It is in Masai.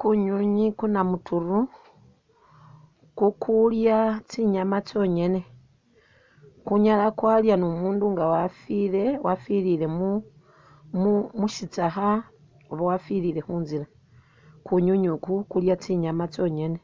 Kunywinywi kuna muturu kukulya tsinyama tsonyene, kunyala kwalya ni umundu nga wafilile wafilile mushitsakha oba wafilile khunzila, kunywinywi uku kulya tsinyama tsonyene